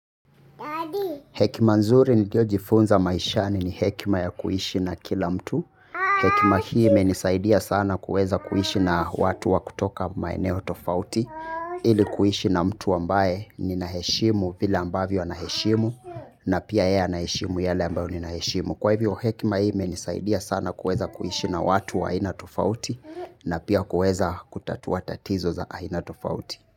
Hekima nzuri niliyojifunza maishani ni hekima ya kuishi na kila mtu. Hekima hii imenisaidia sana kuweza kuishi na watu wa kutoka maeneo tofauti. Ili kuishi na mtu ambaye ninaheshimu vile ambavyo anaheshimu na pia yeye anaheshimu yale ambayo ninaheshimu. Kwa hivyo hekima hii imenisaidia sana kuweza kuishi na watu wa aina tofauti na pia kuweza kutatua tatizo za aina tofauti.